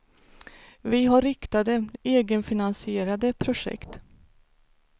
Vi har riktade, egenfinansierade projekt.